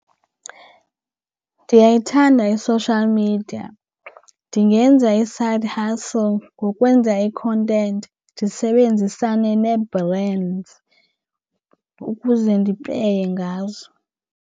Ndiyayithanda i-social media. Ndingenza i-side hustle ngokwenza ikhontenti ndisebenzisane nee-brands ukuze ndipeye ngazo.